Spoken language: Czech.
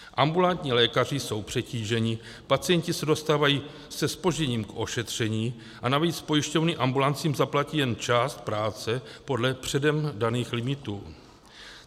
Ambulantní lékaři jsou přetíženi, pacienti se dostávají se zpožděním k ošetření a navíc pojišťovny ambulancím zaplatí jenom část práce podle předem daných limitů.